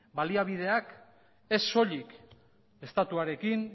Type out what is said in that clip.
baliabideak ez soilik estatuarekin